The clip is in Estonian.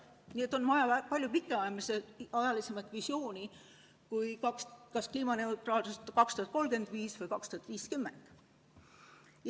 Nii et on vaja palju pikaajalisemat visiooni kui kliimaneutraalsus aastaks 2035 või 2050.